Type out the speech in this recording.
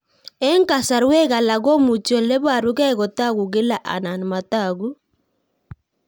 Eng'kasarwek alak komuchi ole parukei kotag'u kila anan matag'u